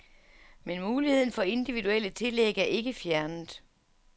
Men muligheden for individuelle tillæg er ikke fjernet.